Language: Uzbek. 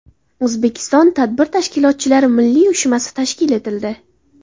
O‘zbekiston Tadbir tashkilotchilari milliy uyushmasi tashkil etildi.